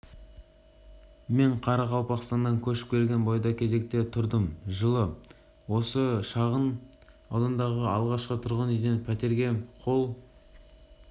мен қарақалпақстаннан көшіп келген бойда кезекке тұрдым жылы осы шағын аудандағы алғашқы тұрғын үйден пәтерге қол